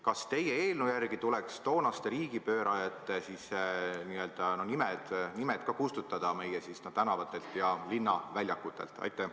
Kas teie eelnõu järgi tuleks meie tänavatelt ja linnaväljakutelt kustutada ka toonaste riigipöörajate nimed?